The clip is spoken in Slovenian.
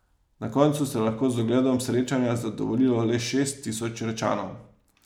Na koncu se je lahko z ogledom srečanja zadovoljilo le šest tisoč Rečanov.